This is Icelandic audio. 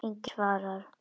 Enginn svarar.